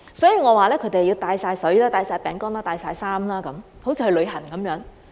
所以，我說他們要帶水、帶餅乾、帶衣服等，好像去旅行般。